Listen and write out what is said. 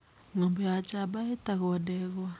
Ng'ombe ya njamba ĩtagwo ndegwa.